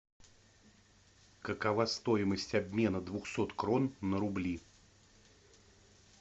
какова стоимость обмена двухсот крон на рубли